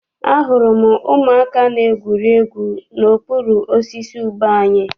Ahụrụ m ụmụaka na-egwuri egwu n'okpuru osisi ube anyị.